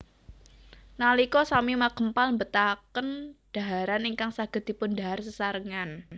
Nalika sami makempal mbetahaken dhaharan ingkang saged dipundhahar sesarengan